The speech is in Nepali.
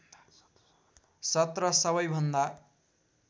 १७ सबैभन्दा